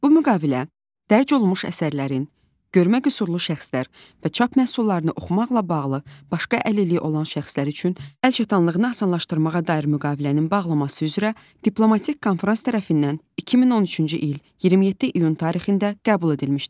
Bu müqavilə dərc olunmuş əsərlərin görmə qüsurlu şəxslər və çap məhsullarını oxumaqla bağlı başqa əlilliyi olan şəxslər üçün əl çatanlığını asanlaşdırmağa dair müqavilənin bağlanması üzrə diplomatik konfrans tərəfindən 2013-cü il 27 iyun tarixində qəbul edilmişdir.